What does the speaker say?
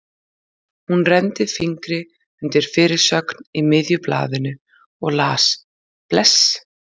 Hún renndi fingri undir fyrirsögn í miðju blaðinu og las: Bless!